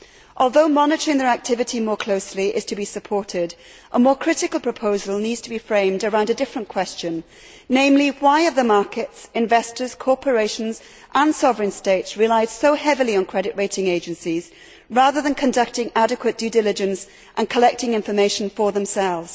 Although monitoring their activity more closely is to be supported, a more critical proposal needs to be framed around a different question, namely why have the markets, investors, corporations and sovereign states relied so heavily on credit rating agencies rather than conducting adequate due diligence and collecting information for themselves?